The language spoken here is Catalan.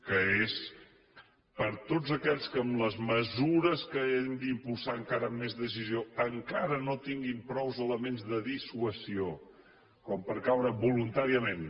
que és per a tots aquells que amb les mesures que hem d’impulsar encara amb més decisió encara no tinguin prou elements de dissuasió com per caure voluntàriament